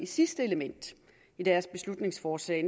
sidste element i deres beslutningsforslag